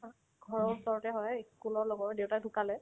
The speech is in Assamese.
ঘৰৰ ওচৰতে হয় school ৰ লগৰ দেউতাক ঢুকালে